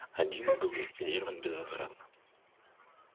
один был ликвидирован безвозвратно